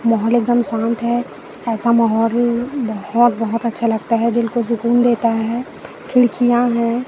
माहौल एकदम शांत है। ऐसा माहौल ही बहोत बहोत अच्छा लगता है दिल को सुकून देता है। खिड़कियां है।